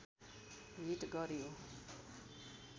hit गर्‍यो